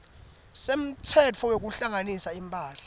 semtsetfo wekuhlanganisa imphahla